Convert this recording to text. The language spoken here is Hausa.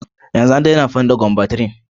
Yanzu an daina amfani da combantrin.